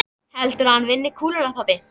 Heldurðu að hann vinni kúluna pabbi?